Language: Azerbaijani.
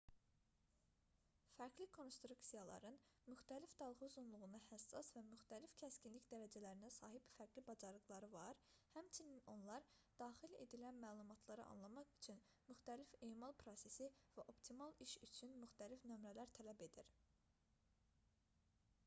fərqli konstruksiyaların müxtəlif dalğa-uzunluğuna həssas və müxtəlif kəskinlik dərəcələrinə sahib fərqli bacarıqları var həmçinin onlar daxil edilən məlumatları anlamaq üçün müxtəlif emal prosesi və optimal iş üçün müxtəlif nömrələr tələb edir